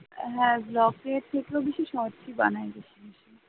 হ্যাঁ vlog থেকেও বেশি shorts বানাই বেশি বেশি